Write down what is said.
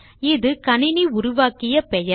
இது கணினி உருவாக்கிய பெயர்